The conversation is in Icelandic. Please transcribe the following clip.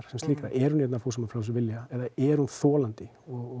sem slíkrar er hún hér af fúsum og frjálsum vilja er hún þolandi